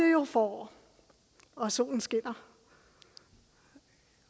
jo forår og solen skinner